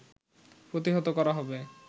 প্রতিহত করা হবে